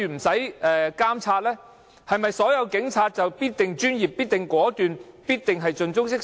是否所有警察都必然專業、果斷、盡忠職守？